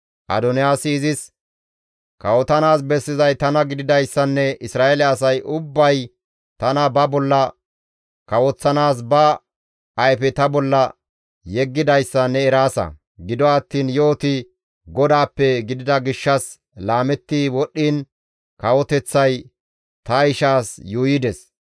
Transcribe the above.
Adoniyaasi izis, «Kawotanaas bessizay tana gididayssanne Isra7eele asay ubbay tana ba bolla kawoththanaas ba ayfe ta bolla yeggidayssa ne eraasa. Gido attiin yo7oti GODAAPPE gidida gishshas laametti wodhdhiin kawoteththay ta ishaas yuuyides.